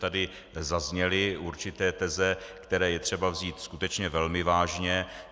Tady zazněly určité teze, které je třeba vzít skutečně velmi vážně.